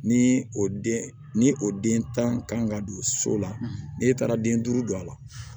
Ni o den ni o den tan kan ka don so la n'e taara den duuru don a la